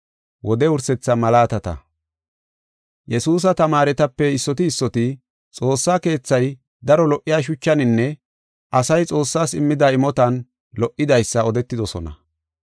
Yesuusa tamaaretape issoti issoti Xoossa Keethay daro lo77iya shuchaninne asay Xoossaas immida imotan lo77idaysa odetoosona.